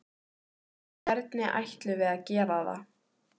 Hvernig ætlum við að gera það?